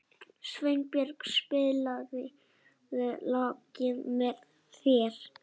Svanbjört, spilaðu lagið „Með þér“.